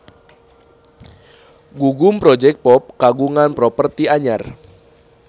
Gugum Project Pop kagungan properti anyar